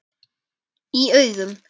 Í augum